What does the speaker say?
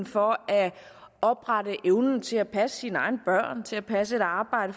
for at opretholde evnen til at passe sine egne børn til at passe et arbejde